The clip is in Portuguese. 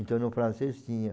Então, no francês tinha.